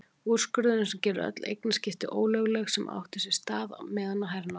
Úrskurðinn sem gerir öll eignaskipti ólögleg sem áttu sér stað meðan á hernámi